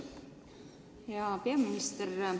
Hea peaminister!